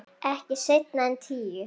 Ekki seinna en tíu.